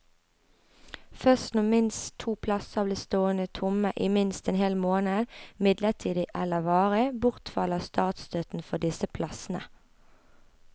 Først når minst to plasser blir stående tomme i minst en hel måned, midlertidig eller varig, bortfaller statsstøtten for disse plassene.